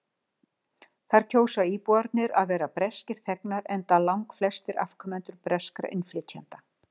Þar kjósa íbúarnir að vera breskir þegnar enda langflestir afkomendur breskra innflytjenda.